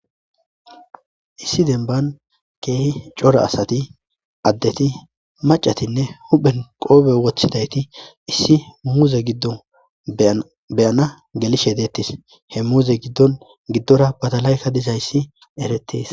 Issi demban keehi cora asati addeti macatinne huhphen qoobe wottodi issi muuze giddon beyana gelishe deettis. He muuze giddon giddora batalayka dizayssi eretiis.